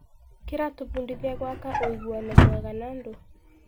Kĩratũbundithia gwxaka ũiguano mwega na andũ.